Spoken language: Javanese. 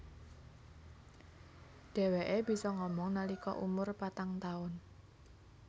Dheweke bisa ngomong nalika umur patang taun